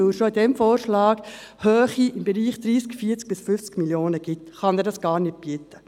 Weil er schon in diesem Vorschlag hohe Kosten) im Bereich von 30, 40 bis 50 Mio. Franken ergibt, kann er das also gar nicht bieten.